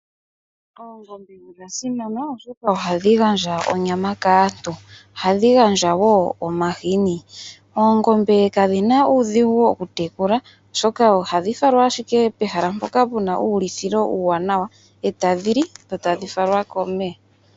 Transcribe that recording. Oongombe odha simana oshoka ohadhi gandja onyama kaantu, ohadhi gandja wo omahini , oongombe kadhina uudhingu okutekula oshoka ohadhi falwa ashike pehala poka puna ulithilo uwanawa etadhili dho etadhifalwa komeya.